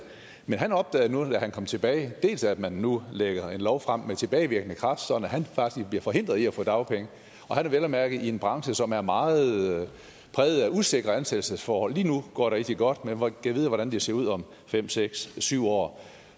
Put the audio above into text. men han opdagede nu da han kom tilbage at man nu lægger en lov frem med tilbagevirkende kraft sådan at han faktisk bliver forhindret i at få dagpenge og han er vel at mærke i en branche som er meget præget af usikre ansættelsesforhold lige nu går det rigtig godt men gad vide hvordan det ser ud om fem seks syv år